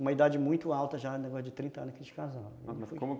Uma idade muito alta já, negócio de trinta anos que eles casaram.